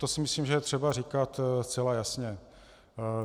To si myslím, že je třeba říkat zcela jasně.